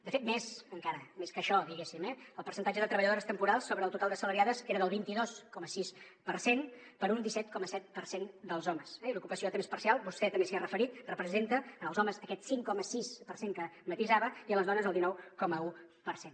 de fet més encara més que això diguéssim eh el percentatge de treballadores temporals sobre el total d’assalariades era del vint dos coma sis per cent per un disset coma set per cent dels homes i l’ocupació a temps parcial vostè també s’hi ha referit representa en els homes aquest cinc coma sis per cent que matisava i en les dones el dinou coma un per cent